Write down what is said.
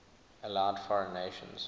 allowed foreign nations